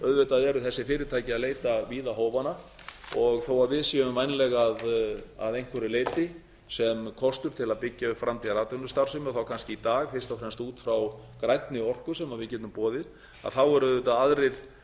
auðvitað eru þess fyrirtæki að leita víða hófanna og þó að við séum vænleg að einhverju leyti sem kostur til að byggja upp framtíðaratvinnustarfsemi og þá kannski í dag fyrst og fremst út frá grænni orku sem við getum boðið þá eru auðvitað aðrir